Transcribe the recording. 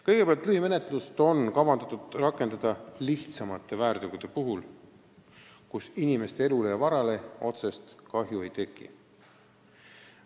Kõigepealt, lühimenetlust on kavas rakendada väiksemate väärtegude puhul, mil inimeste elu ega vara otseselt ohtu ei sattunud.